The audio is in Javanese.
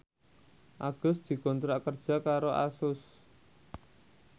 Agus dikontrak kerja karo Asus